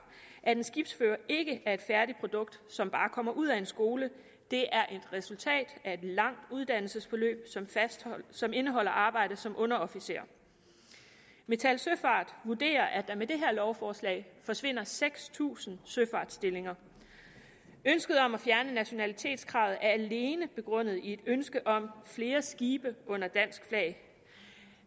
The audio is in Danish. at en skibsfører ikke er et færdigt produkt som bare kommer ud af en skole det er et resultat af et langt uddannelsesforløb som indeholder arbejde som underofficer metal søfart vurderer at der med det her lovforslag forsvinder seks tusind søfartsstillinger ønsket om at fjerne nationalitetskravet er alene begrundet i et ønske om flere skibe under dansk flag